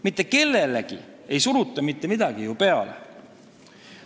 Mitte kellelegi ei suruta mitte midagi peale.